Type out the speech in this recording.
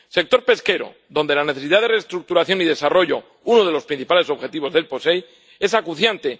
Sector pesquero, donde la necesidad de reestructuración y desarrollo, uno de los principales objetivos del POSEI, es acuciante.